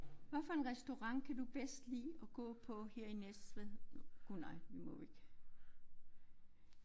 Hvad for en restaurant kan du bedste lide at gå på her i Næstved? Gud nej vi må jo ikke